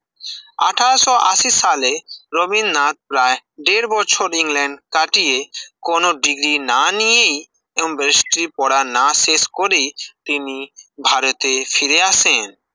আঠাশ ও আসি সালে রবীন্দ্রনাথ প্রায় দেড় বছর ইংল্যান্ড কাটিয়ে কোন ডিগ্রী না নিয়েই এবং ব্যারিস্টারি পড়া না শেষ করেই তিনি ভারতের ফিরে আসেন